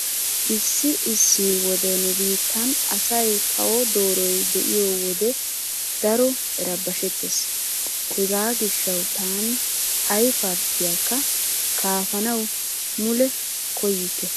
Issi issi wode nu biittan asay kawo dooroy diyo wode daro erabashettees. Hegaa gishshawu taani ay parttiyaakka kaafanawu mule koyyikke.